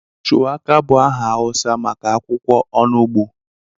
Shuwaka bụ aha Hausa maka akwukwo onugbu.